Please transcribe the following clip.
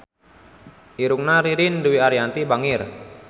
Irungna Ririn Dwi Ariyanti bangir